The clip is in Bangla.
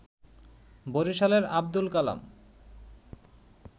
বরিশালের আব্দুল কালাম